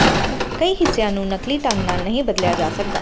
ਕਈ ਹਿੱਸਿਆਂ ਨੂੰ ਨਕਲੀ ਢੰਗ ਨਾਲ ਨਹੀਂ ਬਦਲਿਆ ਜਾ ਸਕਦਾ